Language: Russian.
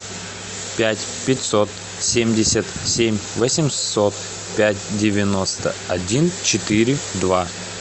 пять пятьсот семьдесят семь восемьсот пять девяносто один четыре два